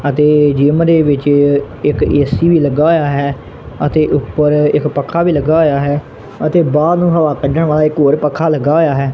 ਅਤੇ ਜਿੱਮ ਦੇ ਵਿੱਚ ਇੱਕ ਏ_ਸੀ ਵੀ ਲੱਗਾ ਹੋਇਆ ਹੈ ਅਤੇ ਊਪਰ ਇੱਕ ਪੱਖਾ ਵੀ ਲੱਗਾ ਹੋਇਆ ਹੈ ਅਤੇ ਬਾਹਰ ਨੂੰ ਹਵਾ ਕੱਡਣ ਵਾਲਾ ਇੱਕ ਹੋਰ ਪੱਖਾ ਲੱਗਾ ਹੋਇਆ ਹੈ।